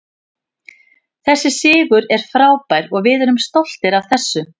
Þessi sigur er frábær og við erum stoltir af þessu.